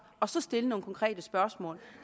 og så stille nogle konkrete spørgsmål